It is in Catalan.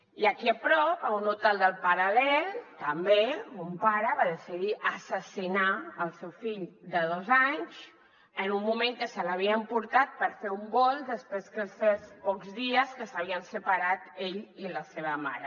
i aquí a prop a un hotel del paral·lel també un pare va decidir assassinar el seu fill de dos anys en un moment que se l’havia emportat per fer un volt després que fes pocs dies que s’havien separat ell i la seva mare